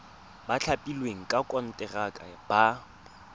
ba thapilweng ka konteraka ba